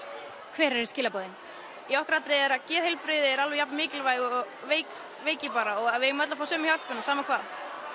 hver eru skilaboðin í okkar atriði er það að geðheilbrigði sé jafn mikilvægt og veiki veiki bara og að við eigum öll að fá sömu hjálpina sama hvað